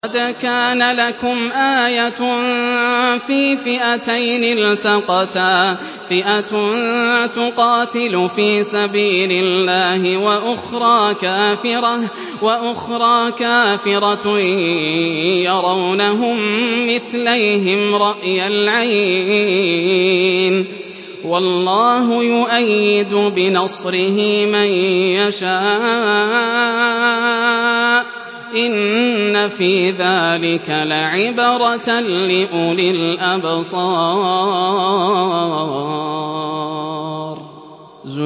قَدْ كَانَ لَكُمْ آيَةٌ فِي فِئَتَيْنِ الْتَقَتَا ۖ فِئَةٌ تُقَاتِلُ فِي سَبِيلِ اللَّهِ وَأُخْرَىٰ كَافِرَةٌ يَرَوْنَهُم مِّثْلَيْهِمْ رَأْيَ الْعَيْنِ ۚ وَاللَّهُ يُؤَيِّدُ بِنَصْرِهِ مَن يَشَاءُ ۗ إِنَّ فِي ذَٰلِكَ لَعِبْرَةً لِّأُولِي الْأَبْصَارِ